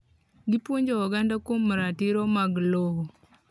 Gipuonjo oganda kuom ratiro mag lowo.